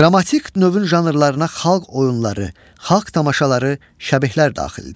Dramatik növün janrlarına xalq oyunları, xalq tamaşaları, şəbihlər daxildir.